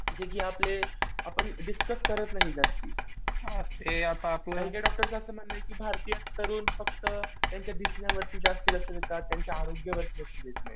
जे की आपले आपण डिस्कस करत नाही जास्त. आणि त्या डॉक्टरचं असं मानणं आहे की भारतीय तरुण फक्त त्यांच्या दिसण्यावरती जास्त लक्ष देतात. त्यांच्या आरोग्यावरती लक्ष देत नाहीत.